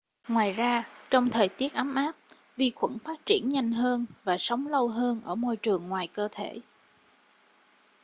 ngoài ra trong thời tiết ấm áp vi khuẩn phát triển nhanh hơn và sống lâu hơn ở môi trường ngoài cơ thể